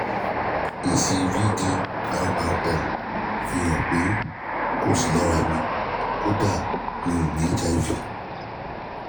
èsì vdrrl fi hàn pé kò sí lárá mi kódà mi ò ní hiv